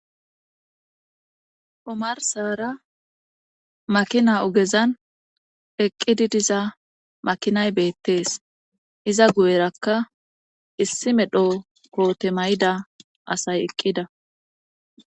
Omarsara makina ogezan eqqidi diza makinay beettees iza guyerakka issi medho koote mayida asay eqqida